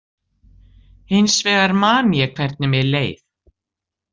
Hins vegar man ég hvernig mér leið.